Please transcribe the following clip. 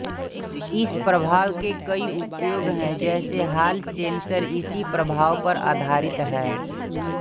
इस प्रभाव के कई उपयोग हैं जैसे हाल सेंसर इसी प्रभाव पर आधारित है